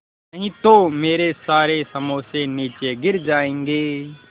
नहीं तो मेरे सारे समोसे नीचे गिर जायेंगे